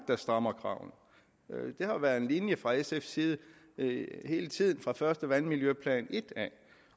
der strammer kravene det har været en linje fra sfs side hele tiden fra fra vandmiljøplan i